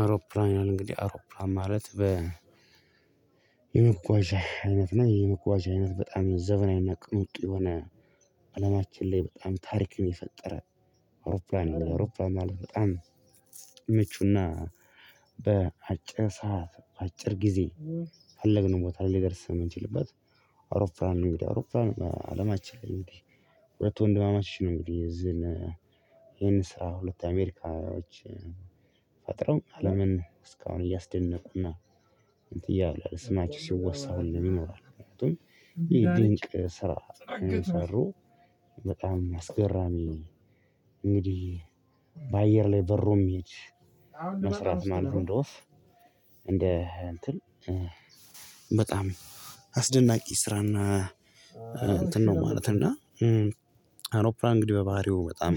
አውሮፕላን እንግዲህ አውሮፕላን ማለት በየመጓጓዣ አይነት ነው የመጓዣ አይነት በጣም ዘብናዊና ቅኑቅ የሆነ አለማችን ላይ በጣም ታሪክን የፈጠረ። አውሮፕላን ወደ አውሮፕላነን ማለት በጣም ምቹና በአጭር ሰዓት በአጭር ጊዜ በፈለግነው ቦታ ላይ ሊደርስ የምንችልበት። አውሮፕላን እንግዲህ አውሮፕላን በአለማችን እንግዲህ ሁለት ወንድማማችን ነው እንግዲህ እዚህን ይሄን ስራ ሁለት አሜሪካውያን አለምን እስካሁን እያስደነቁና እንትን እያለ ስማችሁ ሲወሳው ነው የሚኖረው ይሄ ድንቅ ስራ ሰሩ በጣም አስገራሚ ነው። እንግዲህ በአየር ላይ በሩም ይሄድ መስራት ማንም እንደውስ እንደ እንትን በጣም አስደናቂ ስራና እንትን ነው። ማለት እና አውሮፕላን እንግዲህ በባህሪው በጣም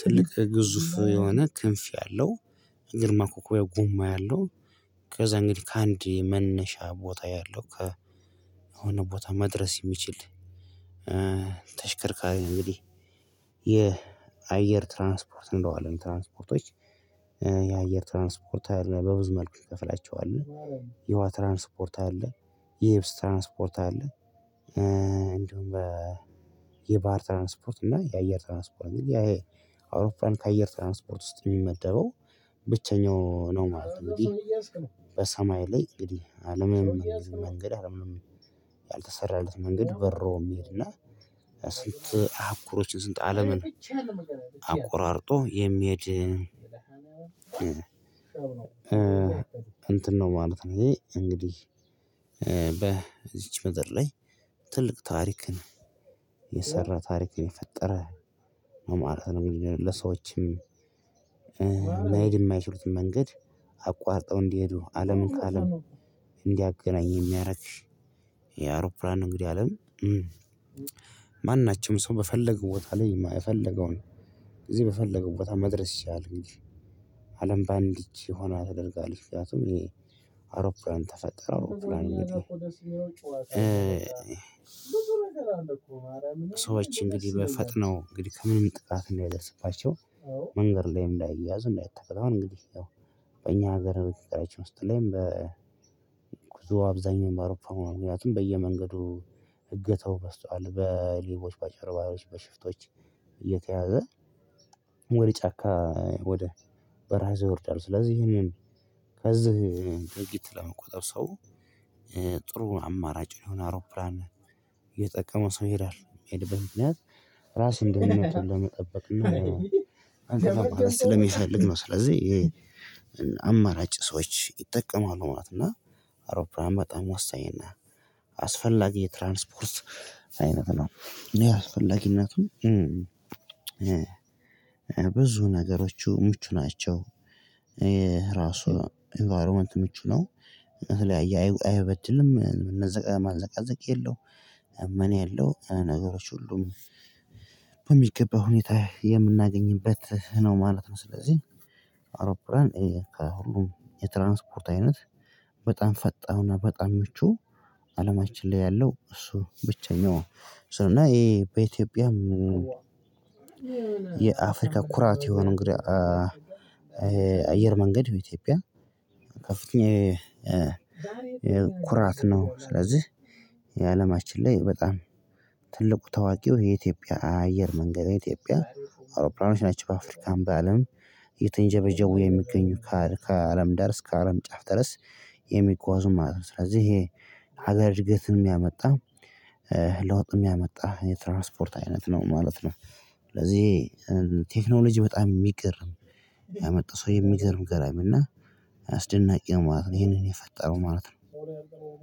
ትልቅ ግዙፍ የሆነ ክንፍ ያለው ግርማ ኮኮቤ ጉማ ያለው ከዛ እንግዲህ ከአንዴ መነሻ ቦታ ያለው ከሆነ ቦታ መድረስ የሚችል ተሽከርካሪ ነው። እንግዲህ የአየር ትራንስፖርት እንደዋለን ትራንስፖርቶች የአየር ትራንስፖርት አይደለም በብዙ መልኩ ይከፍላቸዋል። የዉሃ ትራንስፖርት አለ። የኤብስ ትራንስፖርት አለ። እንደውም የባህር ትራንስፖርት እና የአየር ትራንስፖርት ይሄ አውሮፕላን ከአየር ትራንስፖርት ውስጥ የሚመደበው ብቸኛው ነው ማለት ነው። በሰማይ ላይ እንግዲህ አለምንም መንገድ አለምንም ያልተሰራለት መንገድ በሮ የሚሄድና ስንት አህጉሮችን ስንት አለምን የሚሄድ እንትን ነው ማለት ነው። እንግዲህ በዚች ምድር ላይ ትልቅ ታሪክን የሰራ ታሪክ የፈጠረ መማራት ነው ለሰዎችም መሄድ የማይችሉትን መንገድ አቋርጠው እንዲሄዱ አለምን ከአለም እንዲያገናኝ የሚያደርግ። እንግዲህ አለም ማናቸውም ሰው በፈለገው ቦታ ላይ የፈለገውን እዚህ በፈለገው ቦታ መድረስ ይቻላል። እንጂ አለም በአንድ እጅ ሆና ተደርጋለች ምክንያቱም እኔ ተፈጠረ አውሮፕላን ሰዎች እንግዲህ ፈጥነው እንግዲህ ምንም ጥቃት እንዳይደርስባቸው። መንገድ ላይ እንዳይያዝ እንዳይተበላው እንግዲህ እኛ ሀገር በቀጣይታችን ውስጥ ላይም በጉዞ አብዛኛው በአውሮፓ ምክንያቱም በየመንገዱ እገተው በዝተዋል በሌቦች በጨርባሮች በሽፍቶች። እየተያዘ ወደ ጫካ ወደ በሀው ወርደዋል። ስለዚህ ይሄንን ከዚህ ድርጊት ለመቆጠብ ሰው ጥሩ አማራጭ የሆነ አውሮፕላን የጠቀመው ሰው ይላል የሚሄድበት ምክንያት ራስን ደህንነቱን ለመጠበቅ እና አንተ ለሚሰልግ ነው ስለዚህ የአማራጭ ሰዎች ይጠቀማሉ ማለት ነው። እና አውሮፕላን በጣም ወሳኝ እና አስፈላጊ የትራንስፖርስ አይነት ነው። አስፈላጊነቱ ብዙ ነገሮች ምቹ ናቸው። የራሱ ኢንቫይሮመንት ምቹ ነው። እህሌ አይበድልም ማንዘቃዘቅ የለውም። ምን የለውም ነገሮች ሁሉም በሚገባ ሁኔታ የምናገኝበት ነው ማለት ነው። ስለዚህ አውሮፕላን ከሁሉም የትራንስፖርት አይነት በጣም ፈጣን በጣም ምቹ አለማችን ላይ ያለው እሱ ብቸኛው እና ይሄ በኢትዮጵያም የአፍሪካ ኩራት የሆነ እንግዲህ አየር መንገድ የኢትዮጵያ ከፍተኛ ኩራት ነው። ስለዚህ የአለማችን ላይ በጣም ትልቁ ታዋቂው የኢትዮጵያ አየር መንገድ ኢትዮጵያ አውሮፕላኖች ናቸው። በአፍሪካም በአለም እየተንጀበጀቡ የሚገኙ ከአለም ዳር እስከ አለም ጫፍ ድረስ የሚጓዙ ማለት ነው። ስለዚህ ይሄ ሀገር እድገትን የሚያመጣ ለውጥ የሚያመጣ የትራንስፖርት አይነት ነው ማለት ነው። ስለዚህ ቴክኖሎጂ በጣም የሚገርም ያመጣ ሰው የሚገርም ገራሚ እና አስደናቂ ነው ማለት ነው። ይሄንን የፈጠረው ማለት ነው።